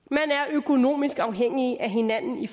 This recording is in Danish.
økonomisk afhængig af hinanden i